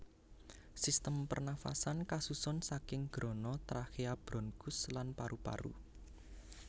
Sistem pernafasan kasusun saking grana trakea bronkus lan paru paru